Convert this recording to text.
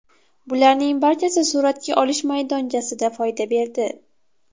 Bularning barchasi suratga olish maydonchasida foyda berdi.